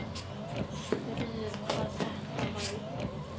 Spurði hvað þetta væri.